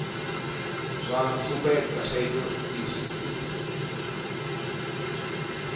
zwa sumbedza thaidzo zwi si